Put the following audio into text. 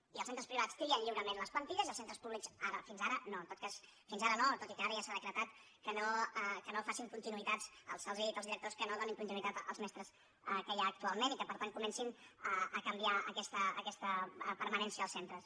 i els centres pri·vats trien lliurement les plantilles i els centres públics fins ara no en tot cas fins ara no tot i que ara ja s’ha decretat que no facin continuïtats se’ls ha dit als di·rectors que no donin continuïtat als mestres que hi ha actualment i que per tant comencin a canviar aquesta permanència als centres